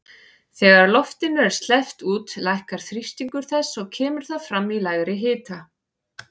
Þegar loftinu er sleppt út lækkar þrýstingur þess og kemur það fram í lægri hita.